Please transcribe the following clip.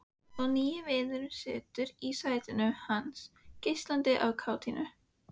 Og nýi vinurinn situr í sætinu hans, geislandi af kátínu.